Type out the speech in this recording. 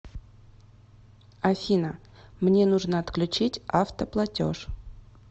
афина мне нужно отключить автоплатеж